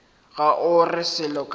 ga o re selo ka